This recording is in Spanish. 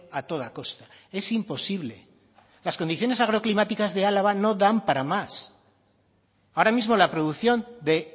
a toda costa es imposible las condiciones agroclimáticas de álava no dan para más ahora mismo la producción de